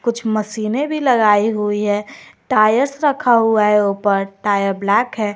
कुछ मशीनें भी लगाई हुईं हैं टायर्स रखा हुआ हैं ऊपर टायर ब्लैक हैं।